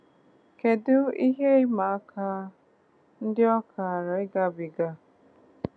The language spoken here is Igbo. Kedu ihe ịma aka ndị ọ kaara ịgabiga?